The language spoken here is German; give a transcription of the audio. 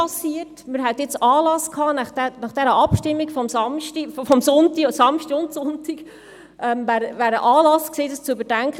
Ursula Marti, ich wohne an der Grenze zum Kanton Solothurn.